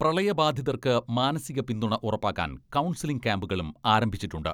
പ്രളയബാധിതർക്ക് മാനസിക പിന്തുണ ഉറപ്പാക്കാൻ കൗൺസലിംഗ് ക്യാംപുകളും ആരംഭിച്ചിട്ടുണ്ട്.